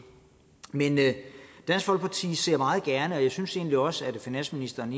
dansk folkeparti ser meget gerne og jeg synes egentlig også at finansministeren